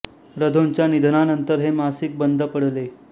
र धों च्या निधनानंतर हे मासिक बंद पडले